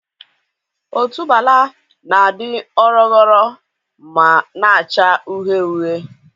Otubuala na-adị ọrọgọrọ ma na-acha uhie uhie.